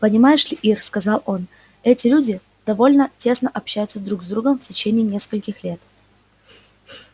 понимаешь ли ир сказал он эти люди довольно тесно общаются друг с другом в течение нескольких лет